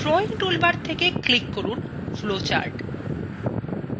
drawing toolbar থেকে click from flowcharts